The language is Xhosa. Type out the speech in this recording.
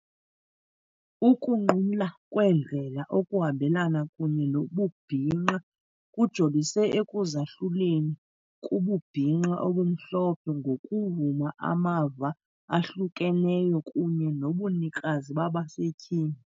Ukunqumla kweendlela okuhambelana kunye nobubhinqa kujolise ekuzahluleni kububhinqa obumhlophe ngokuvuma amava ahlukeneyo kunye nobunikazi babasetyhini.